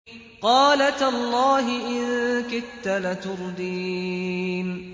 قَالَ تَاللَّهِ إِن كِدتَّ لَتُرْدِينِ